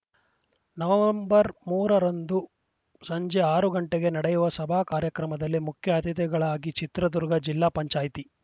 November ಮೂರರಂದು ಸಂಜೆ ಆರು ಗಂಟೆಗೆ ನಡೆಯುವ ಸಭಾ ಕಾರ್ಯಕ್ರಮದಲ್ಲಿ ಮುಖ್ಯ ಅತಿಥಿಗಳಾಗಿ ಚಿತ್ರದುರ್ಗ ಜಿಲ್ಲಾ ಪಂಚಾಯಿತಿ